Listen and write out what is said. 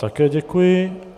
Také děkuji.